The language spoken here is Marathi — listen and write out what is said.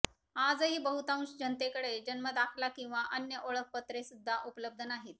आजही बहुतांश जनतेकडे जन्मदाखला किंवा अन्य ओळखपत्रेसुद्धा उपलब्ध नाहीत